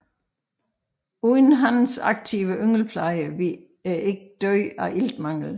Uden hannens aktive yngelpleje ville æggene dø af iltmangel